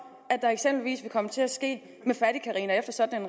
der eksempelvis vil komme til at ske med fattigcarina efter sådan